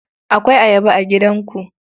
Akwai Ayaba a gidanku?